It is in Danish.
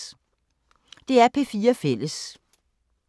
DR P4 Fælles